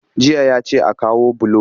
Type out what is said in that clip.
Jiya ya ce a kawo bulo